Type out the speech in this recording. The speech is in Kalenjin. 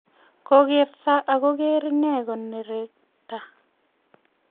kogerto ako ker ine koneregat